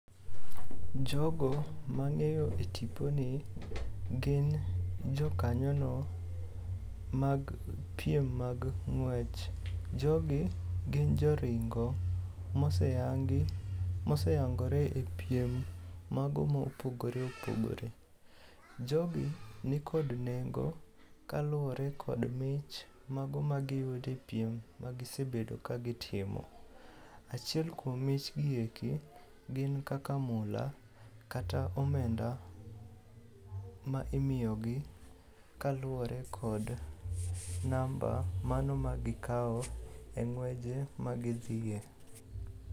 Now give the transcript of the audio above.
Jogo mang'eyo e tiponi gin jokanyono mag piem mag ng'wech. Jogi gin joringo moseyangore e piem mago mopogore opogore. Jogi nikod nengo kaluwore kod mich mago magiyudo e piem magisebedo kagitimo. Achiel kuom mich gi eki gin kaka mula kata omenda ma imiyogi kaluwore kod namba mano ma gikawo e ng'weje magidhiye.